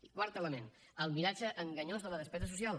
i quart element el miratge enganyós de la despesa social